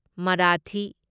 Marathi